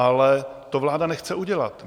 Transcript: Ale to vláda nechce udělat.